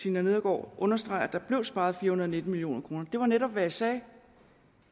tina nedergaard understreger at der blev sparet fire hundrede og nitten million kroner det var netop hvad jeg sagde